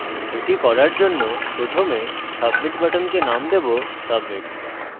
এটি করার জন্য প্রথমে submit বাটনকে নাম দেবো submit